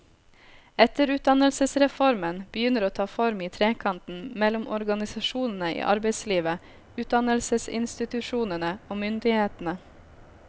Etterutdannelsesreformen begynner å ta form i trekanten mellom organisasjonene i arbeidslivet, utdannelsesinstitusjonene og myndighetene.